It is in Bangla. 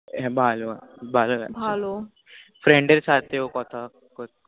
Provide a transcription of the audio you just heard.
হ্য়াঁ ভালো ভালো লাগে ভালো Friend দের সাথেও কথা